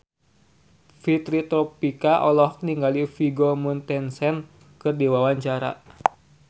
Fitri Tropika olohok ningali Vigo Mortensen keur diwawancara